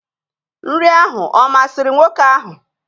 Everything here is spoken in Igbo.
Nri ahụ ọ masịrị nwoke ahụ?